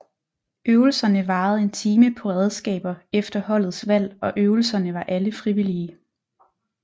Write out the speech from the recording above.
Øvelserne varede en time på redskaber efter holdets valg og øvelserne var alle frivillige